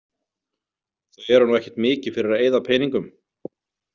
Þau eru nú ekkert mikið fyrir að eyða peningum.